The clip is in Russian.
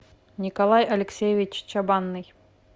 николай алексеевич чабанный